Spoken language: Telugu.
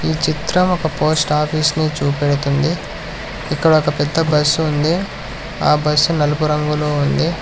ఈ చిత్రం ఒక పోస్ట్ ఆఫీస్ని చూపెడుతుంది ఇక్కడ ఒక పెద్ద బస్సు ఉంది ఆ బస్సు నలుపు రంగులో ఉంది.